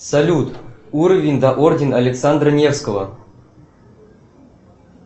салют уровень да орден александра невского